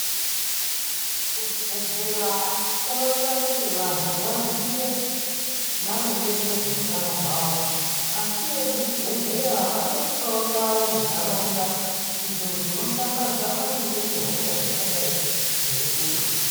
Kuzvibhedhleya kunoita kuti vantu vaziye maringe nezveutano hwavo , asi vekuzvibhedhlera vanoisawo ndau munharaunda idzo dzinoshambadza maringe nehosha dzingadai dzeinesa .